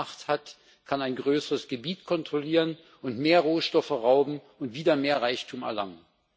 Wer mehr Macht hat, kann ein größeres Gebiet kontrollieren und mehr Rohstoffe rauben und wieder mehr Reichtum erlangen.